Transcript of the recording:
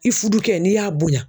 I fudukɛ n'i y'a bonya